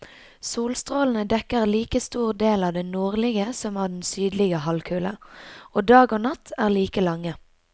Solstrålene dekker like stor del av den nordlige som av den sydlige halvkule, og dag og natt er like lange.